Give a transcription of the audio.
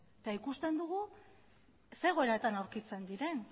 eta ikusten dugu zer egoeratan aurkitzen diren